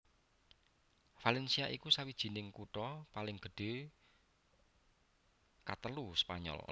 Valencia iku sawijining kutha paling gedhé katelu Spanyol